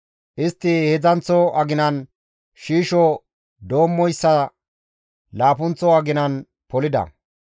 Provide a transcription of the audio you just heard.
Istti heedzdzanththo aginan shiisho doommoyssa laappunththa aginan polida.